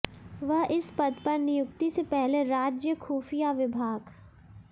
वह इस पद पर नियुक्ति से पहले राज्य खुफिया विभाग